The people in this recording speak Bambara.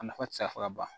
A nafa ti se ka fɔ ka ban